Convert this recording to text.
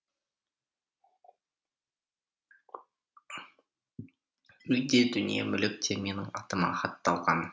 үй де дүние мүлік те менің атыма хатталған